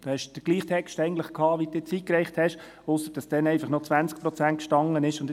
Sie hatten den gleichen Text wie jetzt, nur, dass damals noch 20 Prozent darin standen;